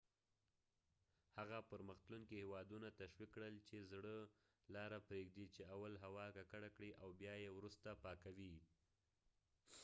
هغه پرمخ تلونکي هیوادونه تشویق کړل چې زړه لاره پریږدي چې اول هوا ککړه کړي او بیا یې وروسته پاکوي